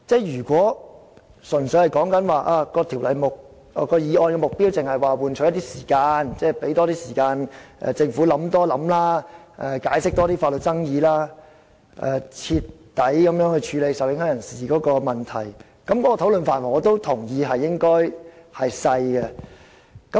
如果說議案的目的純粹是想換取一些時間，讓政府有多些時間考慮、多解釋法律上的爭議，以及全面處理受影響人士的問題，我也同意討論範圍狹窄。